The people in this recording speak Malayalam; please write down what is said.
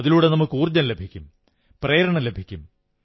അതിലൂടെ നമുക്ക് ഊർജ്ജം ലഭിക്കും പ്രേരണ ലഭിക്കും